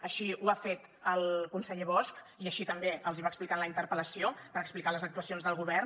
així ho ha fet el conseller bosch i així també els ho va explicar en la interpel·lació per explicar les actuacions del govern